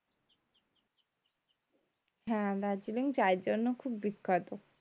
হ্যাঁ দার্জিলিং চায়ের জন্য খুব বিখ্যাত